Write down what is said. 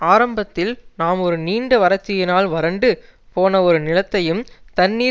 ஆரம்பத்தில் நாம் ஒரு நீண்ட வரட்சியினால் வரண்டு போன ஒரு நிலத்தையும் தண்ணீர்